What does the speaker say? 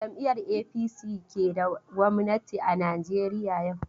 Jam'iyar APC ke da gwamnati a Najeriya yau.